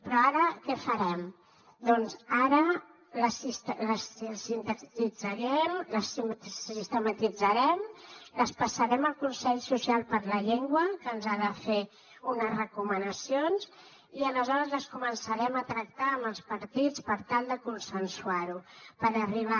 però ara què farem doncs ara les sintetitzarem les sistematitzarem les passarem al consell social de la llengua que ens ha de fer unes recomanacions i aleshores les començarem a tractar amb els partits per tal de consensuar ho per arribar